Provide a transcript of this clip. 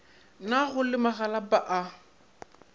na go le magalapa a